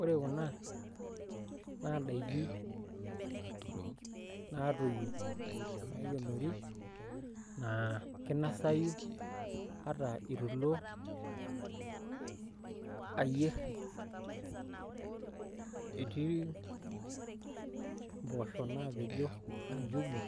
Ore kuna naa ndaikin naatoyio naikenori naa kinasayu ata itulo ayierr etii mpoosho naapejo aa njugu